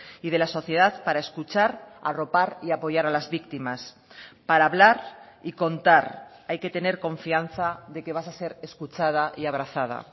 y de la sociedad para escuchar arropar y apoyar a las víctimas para hablar y contar hay que tener confianza de que vas a ser escuchada y abrazada